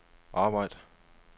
arbejd